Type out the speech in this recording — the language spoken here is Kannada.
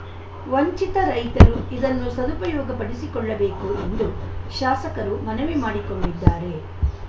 ವಂಚಿತ ರೈತರು ಇದನ್ನು ಸದುಪಯೋಗಪಡಿಸಿಕೊಳ್ಳಬೇಕು ಎಂದು ಶಾಸಕರು ಮನವಿ ಮಾಡಿಕೊಂಡಿದ್ದಾರೆ